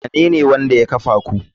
Wanene wanda ya kafa ku?